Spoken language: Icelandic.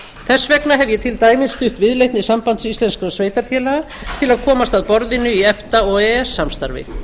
þess vegna hef ég til dæmis stutt viðleitni sambands íslenskra sveitarfélaga til að komast að borðinu í efta og e e s samstarfi